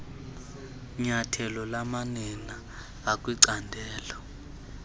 nyathelo lamanina akwicandelo